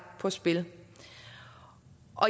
på spil